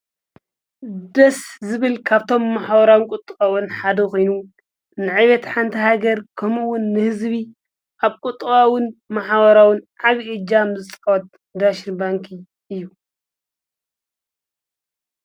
ደስ ዝብል ካብቶም መሓበራዊን ቊጥባውን ሓደ ኺኑ ንዒበት ሓንቲ ሃገር ከምኡውን ንሕዝቢ ኣብ ቊጥባውን መሓወራውን ዓብይእጃም ዝፃወት ዳሽን ባንኪ እዩ።